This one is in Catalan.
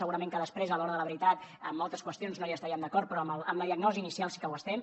segurament que després a l’hora de la veritat en moltes qüestions no hi estaríem d’acord però amb la diagnosi inicial sí que ho estem